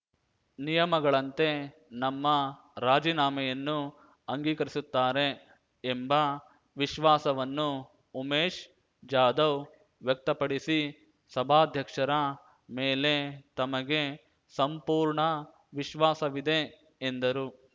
ನಿಯಮಗಳಂತೆ ನಮ್ಮ ರಾಜೀನಾಮೆಯನ್ನು ಅಂಗೀಕರಿಸುತ್ತಾರೆ ಎಂಬ ವಿಶ್ವಾಸವನ್ನು ಉಮೇಶ್ ಜಾಧವ್ ವ್ಯಕ್ತಪಡಿಸಿ ಸಭಾಧ್ಯಕ್ಷರ ಮೇಲೆ ತಮಗೆ ಸಂಪೂರ್ಣ ವಿಶ್ವಾಸವಿದೆ ಎಂದರು